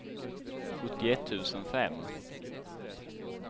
sjuttioett tusen fem